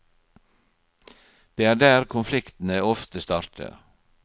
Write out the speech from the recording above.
Det er der konfliktene ofte starter.